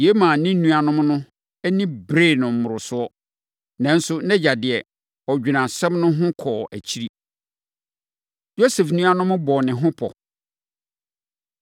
Yei maa ne nuammarimanom no ani beree no mmorosoɔ. Nanso, nʼagya deɛ, ɔdwenee asɛm no ho kɔɔ akyiri. Yosef Nuanom Bɔ Ne Ho Pɔ